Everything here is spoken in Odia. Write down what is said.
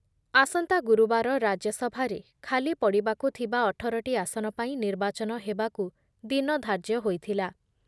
ଆସନ୍ତା ଗୁରୁବାର ରାଜ୍ୟ ସଭାରେ ଖାଲି ପଡ଼ିବାକୁ ଥିବା ଅଠର ଟି ଆସନ ପାଇଁ ନିର୍ବାଚନ ହେବାକୁ ଦିନଧାର୍ଯ୍ୟ ହୋଇଥିଲା।